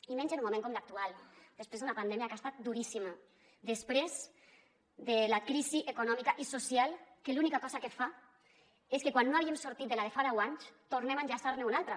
i menys en un moment com l’actual després d’una pandèmia que ha estat duríssima després de la crisi econòmica i social que l’única cosa que fa és que quan no havíem sortit de la de fa deu anys tornem a enllaçar ne una altra